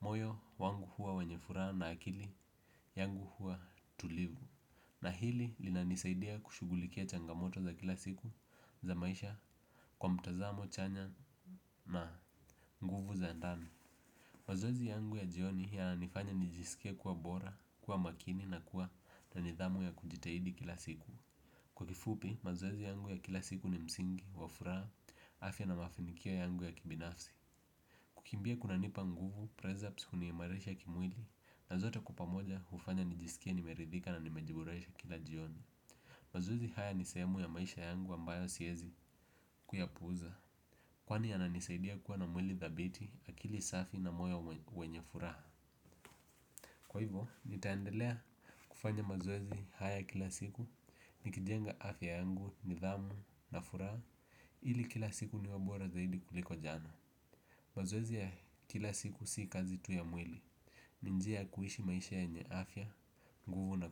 moyo wangu huwa wenye furaha na akili yangu huwa tulivu. Na hili linanisaidia kushugulikia changamoto za kila siku za maisha kwa mtazamo chanya na nguvu za ndani. Mazoezi yangu ya jioni yananifanya nijisike kuwa bora, kuwa makini na kuwa na nidhamu ya kujitahidi kila siku. Kwa kifupi, mazoezi yangu ya kila siku ni msingi, wafuraha, afya na mafinikio yangu ya kibinafsi. Kukimbia kuna nipa nguvu, prez-ups huniimarisha kimwili na zote kwa pamoja hufanya nijisike nimeridhika na nimejiboresha kila jioni. Mazoezi haya nisehemu ya maisha yangu ambayo siezi kuyapuuza. Kwani yananisaidia kuwa na mwili dhabiti akili safi na moyo wenye furaha. Kwa hivyo, nitaendelea kufanya mazoezi haya kila siku nikijenga afya yangu, nidhamu na furaha ili kila siku iwe bora zaidi kuliko jana. Mazoezi ya kila siku si kazi tu ya mwili. Ni njia kuishi maisha yenye afya, nguvu na ku.